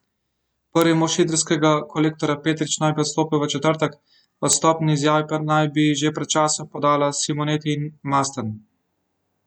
Prvi mož idrijskega Kolektorja Petrič naj bi odstopil v četrtek, odstopni izjavi pa naj bi že pred časom podala Simoneti in Masten.